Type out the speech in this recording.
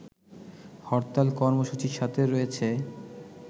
হরতাল কর্মসূচির সাথে রয়েছে